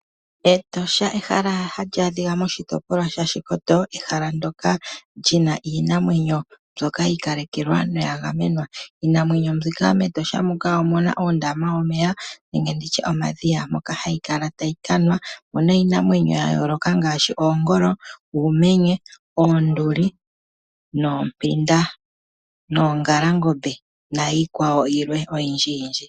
Etosha ehala hali adhika moshitopolwa shaShikoto, ehala ndyoka lyina iinamwenyo mbyoka yi ikalekelwa noya gamenwa. Iinamwenyo mbika, metosha omuna ondama yomeya nomadhiya moka hayi kala tayi ka nwa. Omuna iinamwenyo ya yooloka ngaashi oongolo, uumenye, oonduli, oompinda noongalangombe niikwawo oyindji.